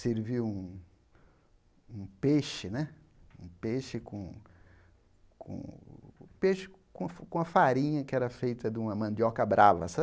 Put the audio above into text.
Serviu um um peixe né um peixe com com um peixe com com a farinha que era feita de uma mandioca brava sabe.